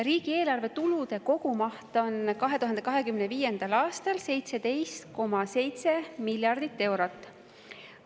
Riigieelarve tulude kogumaht 2025. aastal on 17,7 miljardit eurot.